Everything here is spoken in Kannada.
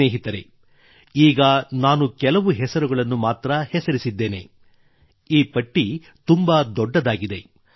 ಸ್ನೇಹಿತರೆ ಈಗ ನಾನು ಕೆಲವು ಹೆಸರುಗಳನ್ನು ಮಾತ್ರ ಹೆಸರಿಸಿದ್ದೇನೆ ಈ ಪಟ್ಟಿ ತುಂಬಾ ದೊಡ್ಡದಾಗಿದೆ